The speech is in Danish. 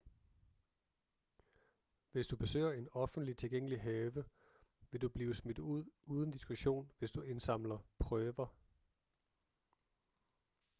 hvis du besøger en offentlig tilgængelig have vil du blive smidt ud uden diskussion hvis du indsamler prøver